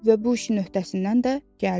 Və bu işin öhdəsindən də gəldi.